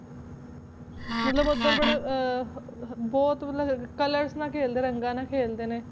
ਮਤਲਬ ਉੱਧਰ ਬੜਾ ਅਹ ਅਹ ਬਹੁਤ colours ਨਾਲ ਖੇਲਦੇ ਰੰਗਾਂ ਨਾਲ ਖੇਲਦੇ ਨੇ।